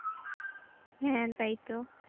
হ্যাঁ তাই তো